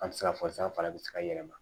An ti se ka fɔ san fana bɛ se ka yɛlɛma